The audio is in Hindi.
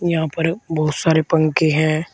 यहां पर बहोत सारे पंखे है।